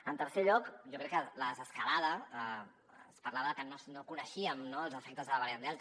en tercer lloc jo crec que en la desescalada es parlava de que no coneixíem no els efectes de la variant delta